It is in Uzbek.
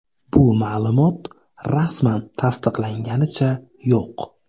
Bu ma’lumot rasman tasdiqlanganicha yo‘q.